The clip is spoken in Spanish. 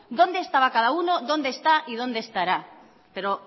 dónde estaba cada uno dónde está y dónde estará pero oye